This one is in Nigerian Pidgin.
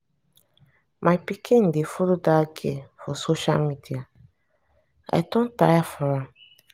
my pikin dey follow dat girl for social media. i do tire for am.